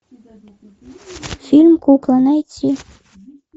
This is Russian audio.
фильм кукла найти